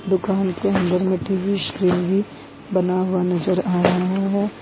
दुकान के अंदर में टी_वी स्क्रीन भी बना हुआ नजर आ रहा है।